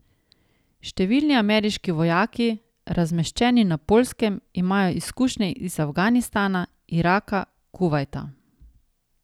Številni ameriški vojaki, razmeščeni na Poljskem, imajo izkušnje iz Afganistana, Iraka, Kuvajta ...